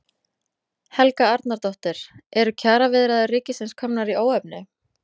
Helga Arnardóttir: Eru kjaraviðræður ríkisins komnar í óefni?